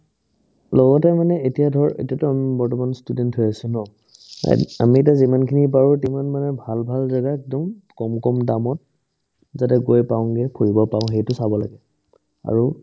লগতে মানে এতিয়া ধৰ্ এতিয়াতো আম বৰ্তমান student হৈ আছো ন আমি এতিয়া যিমানখিনি পাৰো তিমান ভাল ভাল জাগা একদম কম কম দামত যাতে গৈ পাওগে ঘূৰিব পাৰো সেইটো চাব লাগে আৰু